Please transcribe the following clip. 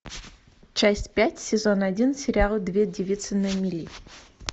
часть пять сезон один сериал две девицы на мели